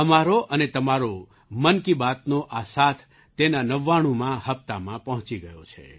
અમારો અને તમારો મન કી બાતનો આ સાથ તેના નવાણુંમા 99 હપ્તામાં પહોંચી ગયો છે